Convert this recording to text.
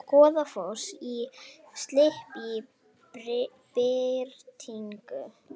Goðafoss í slipp í birtingu